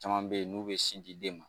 Caman bɛ ye n'u bɛ sin di den ma